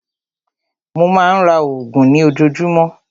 Mó má a ń ra oògùn ní ojoojúmọ́.